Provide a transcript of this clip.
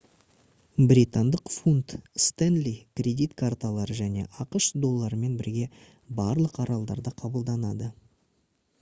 британдық фунт стенли кредит карталары және ақш долларымен бірге барлық аралдарда қабылданады